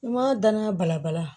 N ma danaya balabala